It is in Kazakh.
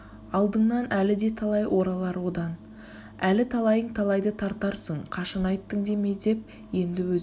алдыңнан әлі де талай оралар одан әлі талайың талайды тартарсың қашан айттың деме деп енді өзінің